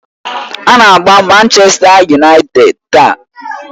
Ha na-agba Manchèsta Yunaịted taa.